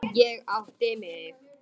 Þeir risu á fætur.